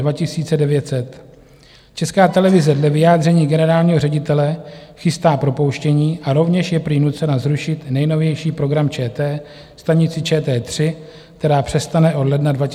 Česká televize dle vyjádření generálního ředitele chystá propouštění a rovněž je prý nucena zrušit nejnovější program ČT, stanici ČT3, která přestane od ledna 2023 vysílat.